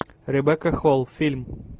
ребекка холл фильм